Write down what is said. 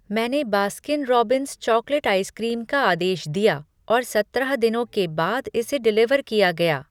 मैंने Baskin Robbins chocolate ice cream का आदेश दिया और सत्रह दिनों के बाद इसे डिलीवर किया गया।